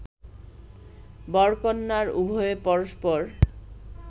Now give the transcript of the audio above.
বরকন্যার উভয়ে পরস্পর